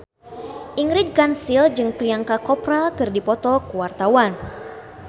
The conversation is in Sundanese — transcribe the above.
Ingrid Kansil jeung Priyanka Chopra keur dipoto ku wartawan